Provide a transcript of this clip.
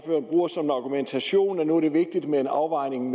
bruger som argumentation at nu er det vigtigt med en afvejning